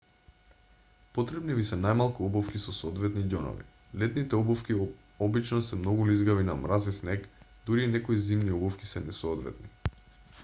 потребни ви се најмалку обувки со соодветни ѓонови летните обувки обчно се многу лизгави на мраз и снег дури и некои зимни обувки се несоодветни